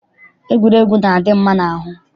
Egwuregwu na-adị mma n'ahụ.